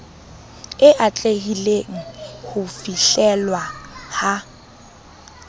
e atlehileng ho fihlellwa ha